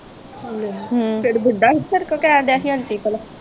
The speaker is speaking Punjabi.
ਲੈ ਫਿਰ ਬੁੱਢਾ ਹੀ ਫਿਰ ਕਿਉਂ ਕਹਿਣ ਦੀਆ ਆਂਟੀ ਪਲਾ